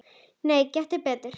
Nei, gettu betur